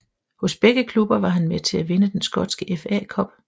Hos begge klubber var han med til at vinde den skotske FA Cup